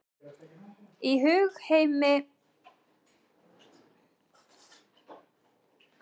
Í hugmyndaheimi íslam er tunglið tákn tímans og árinu er skipt í tunglmánuði.